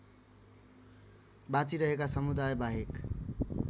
बाँचिरहेका समुदायबाहेक